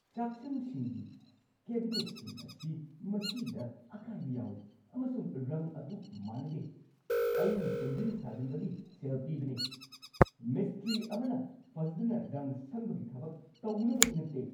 ꯆꯥꯛꯁꯪꯁꯤꯡꯒꯤ ꯀꯦꯕꯤꯅꯦꯠꯁꯤꯡ ꯑꯁꯤ ꯃꯆꯤꯗ ꯑꯀꯥꯏꯕ ꯌꯥꯎꯋꯤ, ꯑꯃꯁꯨꯡ ꯔꯪ ꯑꯗꯨ ꯃꯥꯟꯅꯗꯦ꯫ ꯑꯩꯅ ꯁꯦꯝꯖꯤꯟ-ꯁꯥꯖꯤꯟꯕꯒꯤ ꯁꯦꯜ ꯄꯤꯕꯅꯤ, ꯃꯤꯁꯇ꯭ꯔꯤ ꯑꯃꯅ ꯐꯖꯗꯅ ꯔꯪ ꯁꯪꯕꯒꯤ ꯊꯕꯛ ꯇꯧꯅꯕꯒꯤ ꯅꯠꯇꯦ!